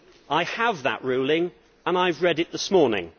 I have that ruling and I have read it this morning.